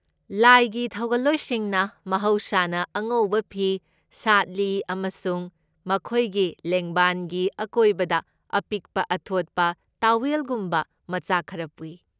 ꯂꯥꯏꯒꯤ ꯊꯧꯒꯜꯂꯣꯏꯁꯤꯡꯅ ꯃꯍꯧꯁꯥꯅ ꯑꯉꯧꯕ ꯐꯤ ꯁꯥꯠꯂꯤ ꯑꯃꯁꯨꯡ ꯃꯈꯣꯏꯒꯤ ꯂꯦꯡꯕꯥꯟꯒꯤ ꯑꯀꯣꯏꯕꯗ ꯑꯄꯤꯛꯄ ꯑꯊꯣꯠꯄ ꯇꯥꯋꯦꯜꯒꯨꯝꯕ ꯃꯆꯥꯛ ꯈꯔ ꯄꯨꯏ꯫